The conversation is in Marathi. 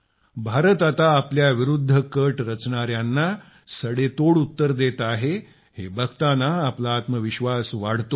भारत आता आपल्याविरूद्ध कट रचणाऱ्याना सडेतोड उत्तर देत आहे हे बघताना आपला आत्मविश्वास वाढतो